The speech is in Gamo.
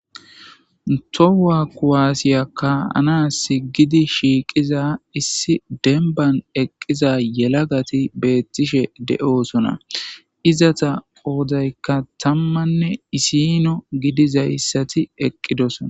Towa kuwaasiya kaanas gidi shiiqiza issi denban eqqiza yelagati beettishe de7oosona izata qoodaykka tammanne isino gidizayssati eqqidoso.